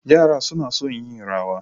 Yara suna son yin Rawa.